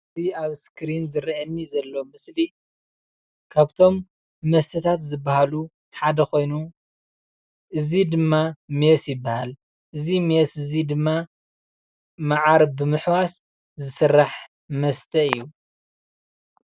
እዚ ኣብ እስክሪን ዝረኣየኒ ዘሎ ምስሊ ካብቶም መስተታት ዝባሃሉ ሓደ ኮይኑ እዚ ድማ ሜስ ይባሃል። እዚ ሜስ እዚ ድማ ማዓር ብምሕዋስ ዝስራሕ መስተ እዩ።